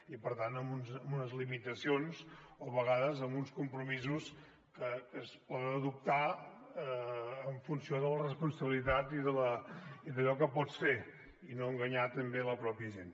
i per tant amb unes limitacions o a vegades amb uns compromisos que es poden adoptar en funció de la responsabilitat i d’allò que pots fer i no enganyar també la mateixa gent